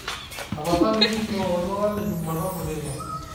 tapasali tujuto oltuala lejumatano teipa